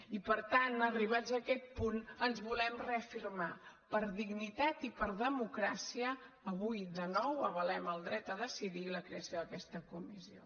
i per tant arribats a aquest punt ens volem reafirmar per dignitat i per democràcia avui de nou avalem el dret a decidir i la creació d’aquesta comissió